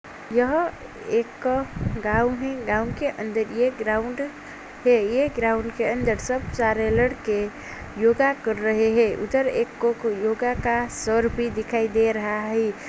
यह एक गांव है। गांव के अंदर ये ग्राउंड है। ये ग्राउंड के अंदर सब जा रहे लड़के योगा कर रहे है। उधर एक कोक योगा का सर भी दिखाई दे रहा है।